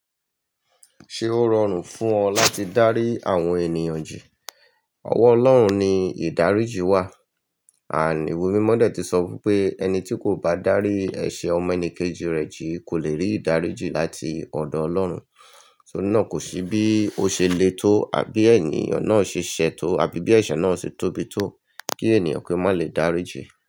Ṣé ó rọrùn fún ọ láti dárí àwọn ènìyàn jì? Ọwọ́ Ọlọ́run ni ìdáríjì wà. And íwe Mímọ́ dé tí sọ wí pé ẹni tí kò bá dárí ẹ̀ṣẹ̀ ọmọ ẹni kejì rẹ̀ jì kò lè rí ìdáríjì láti ọ̀dọ̀ Ọlọ́run. Tori náà kò sí bí ó ṣe le tó àbí ènìyàn náà ṣe ṣẹ̀ tó àbí bí ẹ̀ṣẹ̀ náà ṣe tóbi tó kí ènìyàn ki o má lè dáríjì.